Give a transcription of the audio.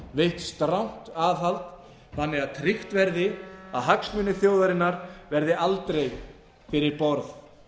veitt strangt aðhald þannig að tryggt verði að hagsmunir þjóðarinnar verði aldrei fyrir